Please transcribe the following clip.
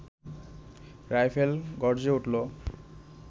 rifle গর্জে উঠল